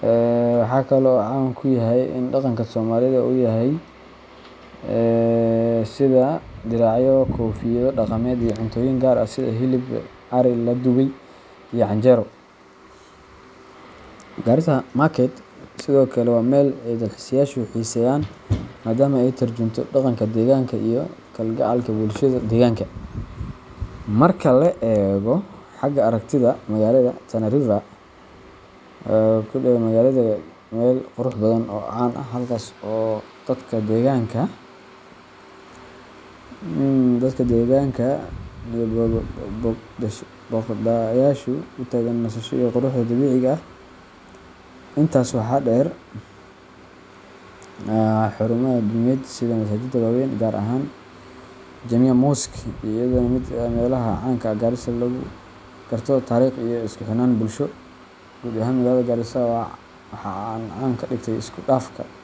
Waxa kale oo uu caan ku yahay sida uu ugu qotomo dhaqanka Soomaalida, iyadoo laga heli karo waxyaabo sida diracyo, koofiyado dhaqameed, iyo cuntooyin gaar ah sida hilib ari la dubay iyo canjeero. Garissa Market sidoo kale waa meel ay dalxiisayaashu xiiseeyaan, maadaama ay ka tarjunto dhaqanka deegaanka iyo kalgacalka bulshada deegaanka. Marka la eego xagga aragtida magaalada, Tana River, oo ku dhextunta magaalada, ayaa ah meel kale oo qurux badan oo caan ah, halkaas oo dadka deegaanka iyo booqdayaashu u tagaan nasasho iyo quruxda dabiiciga ah. Intaas waxaa dheer, xarumaha diimeed sida masaajidda waaweyn, gaar ahaan Jamia Mosque, ayaa iyaguna ka mid ah meelaha caan ka ah Garissa oo lagu garto taariikh iyo isku xirnaan bulsho. Guud ahaan, magaalada Garissa waxaa caan ka dhigay isku dhafka dhaqanka.